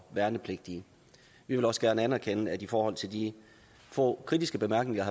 værnepligtige vi vil også gerne anerkende at i forhold til de få kritiske bemærkninger